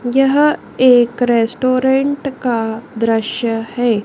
यह एक रेस्टोरेंट का दृश्य है।